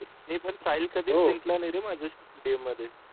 नाही पण साहिल कधीच जिंकला नाही रे माझ्या स्टेडियम मध्ये